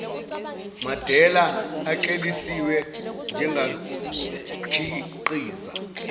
madela ekleliswe njengakhiqiza